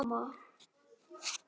Já, mamma.